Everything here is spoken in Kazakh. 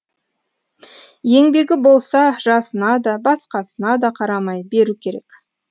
еңбегі болса жасына да басқасына да қарамай беру керек